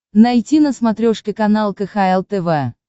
найти на смотрешке канал кхл тв